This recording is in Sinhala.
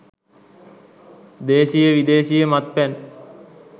දේශීය විදේශීය මත්පැන්